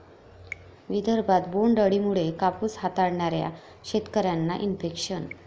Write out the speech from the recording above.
विदर्भात बोंड अळीमुळे कापूस हाताळणाऱ्या शेतकऱ्यांना इन्फेक्शन